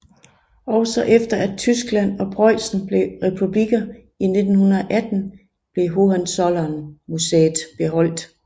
Også efter at Tyskland og Preussen blev republikker i 1918 blev Hohenzollernmuseet beholdt